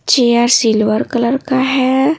Chair silver colour का है।